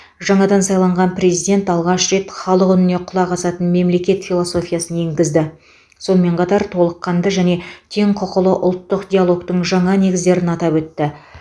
жаңадан сайланған президент алғаш рет халық үніне құлақ асатын мемлекет философиясын енгізді сонымен қатар толыққанды және теңқұқылы ұлттық диалогтың жаңа негіздерін атап өтті